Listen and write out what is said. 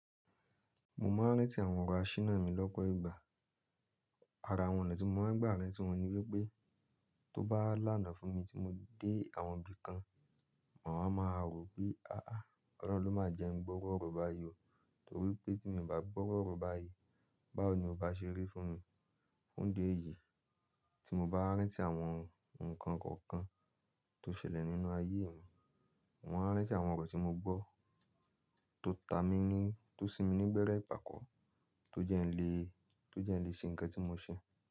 Mo máa ń rántí àwọn ọ̀rọ̀ á ṣíná mi lọ́pọ̀ ìgbà. Ara àwọn ọ̀nà tí mo máa ń gbà mí tí wọ́n ní wípé tó bá lànà fún mi tí mo dé àwọn ibi kan, mo máa ma rò wí, aàá Ọlọ́run ló máa jẹ́ ẹni gbọ́wọ́ ọ̀rọ̀ bá yí o. Nítorí pé tí mo ì bá gbọ́ru ọ̀rọ̀ bá yí, báwo ni o bá ṣe rí fún mi? Fún dé yìí tí mo bá rántí àwọn ǹkan kọ̀ọ̀kan tó ṣẹlẹ̀ nínú ayé mi, mo máa ń rántí àwọn ọ̀rọ̀ tí mo gbọ́ tó ta mi ní, tó sinmi ní gbẹ́rẹ́ ìpàkọ́, tó jẹ́ ń le, tó jẹ́ ń le ṣe ǹkan tí mo ṣe.